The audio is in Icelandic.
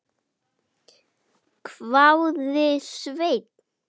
hváði Svenni.